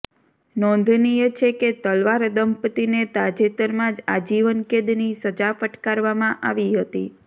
નોંધનીય છે કે તલવાર દમ્પતિને તાજેતરમાં જ આજીવન કેદની સજા ફટકારવામાં આવી હતી